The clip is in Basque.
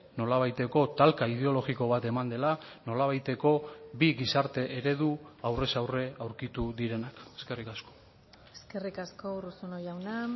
nolabaiteko talka ideologiko bat eman dela nolabaiteko bi gizarte eredu aurrez aurre aurkitu direnak eskerrik asko eskerrik asko urruzuno jauna